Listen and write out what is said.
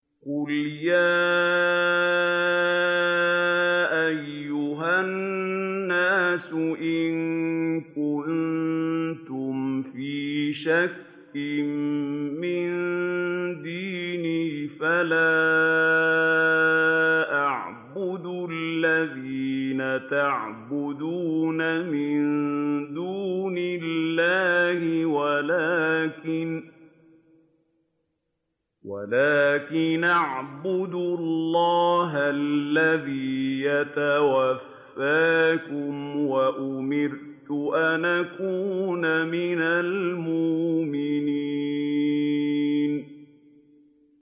قُلْ يَا أَيُّهَا النَّاسُ إِن كُنتُمْ فِي شَكٍّ مِّن دِينِي فَلَا أَعْبُدُ الَّذِينَ تَعْبُدُونَ مِن دُونِ اللَّهِ وَلَٰكِنْ أَعْبُدُ اللَّهَ الَّذِي يَتَوَفَّاكُمْ ۖ وَأُمِرْتُ أَنْ أَكُونَ مِنَ الْمُؤْمِنِينَ